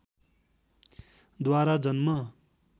द्वारा जन्म